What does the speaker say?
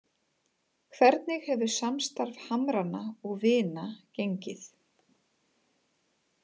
Hvernig hefur samstarf Hamranna og Vina gengið?